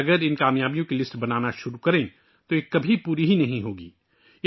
اگر ہم ان کامیابیوں کی فہرست بنانا شروع کر دیں تو یہ کبھی مکمل نہیں ہو سکتی